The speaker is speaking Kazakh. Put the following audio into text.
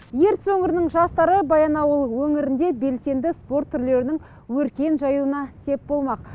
ертіс өңірінің жастары баянауыл өңірінде белсенді спорт түрлерінің өркен жаюына сеп болмақ